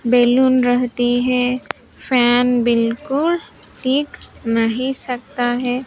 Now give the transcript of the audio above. Balloon रहती हैं fan बिल्कुल ठीक नहीं सकता हैं।